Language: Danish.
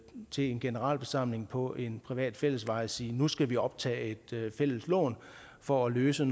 til en generalforsamling på en privat fællesvej og sige at nu skal vi optage et fælles lån for at løse